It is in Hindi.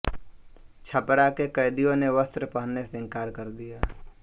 छपरा के कैदियों ने वस्त्र पहनने से इंकार कर दिया